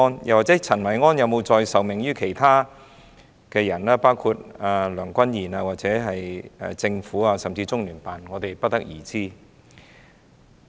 又或陳維安有否再受命於其他人，包括梁君彥或政府，甚至是中央人民政府駐香港特別行政區聯絡辦公室，我們不得而知。